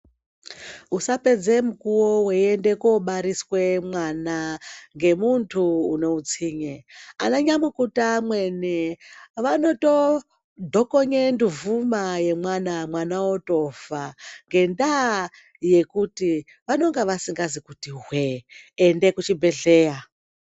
Usapedze mukuwo weiende koobariswe mwana ngemuntu unoutsinye, anayamukuta amweni vanotodhokonye nduvhuma yemwana, mwana otofa ngendaa yekuti vanonga vasingazi kuti hwee. Ende kuchibhehleya